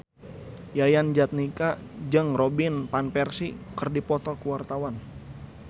Yayan Jatnika jeung Robin Van Persie keur dipoto ku wartawan